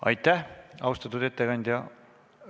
Aitäh, austatud ettekandja!